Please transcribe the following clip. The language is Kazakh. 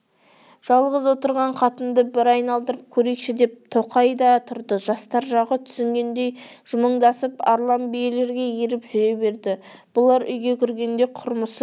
жалғыз отырған қатынды бір айналдырып көрейікші деп тоқай да тұрды жастар жағы түсінгендей жымыңдасып арлан билерге еріп жүре берді бұлар үйге кіргенде құрмысы